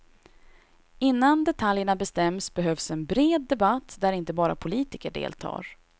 Innan detaljerna bestäms behövs en bred debatt där inte bara politiker deltar.